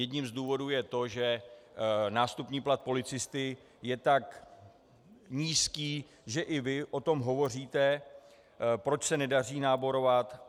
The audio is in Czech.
Jedním z důvodů je to, že nástupní plat policisty je tak nízký, že i vy o tom hovoříte, proč se nedaří náborovat.